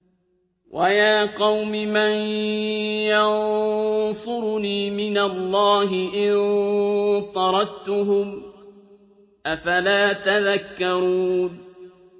وَيَا قَوْمِ مَن يَنصُرُنِي مِنَ اللَّهِ إِن طَرَدتُّهُمْ ۚ أَفَلَا تَذَكَّرُونَ